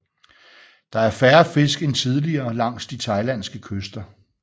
Der er færre fisk end tidligere langs de thailandske kyster